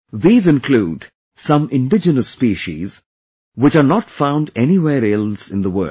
These include some indigenous species, which are not found anywhere else in the world